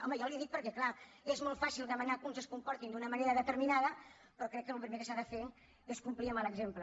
home jo li ho dic perquè clar és molt fàcil demanar que uns es comportin d’una manera determinada però crec que el primer que s’ha de fer és complir amb l’exemple